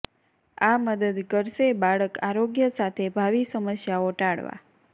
આ મદદ કરશે બાળક આરોગ્ય સાથે ભાવિ સમસ્યાઓ ટાળવા